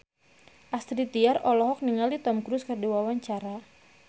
Astrid Tiar olohok ningali Tom Cruise keur diwawancara